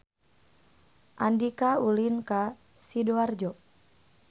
Andika ulin ka Sidoarjo